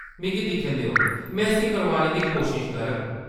मिगी दिक्खन देओ. में इस्सी करोआने दी कोशश करगा ।